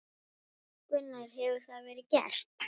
Gunnar: Hefur það verið gert?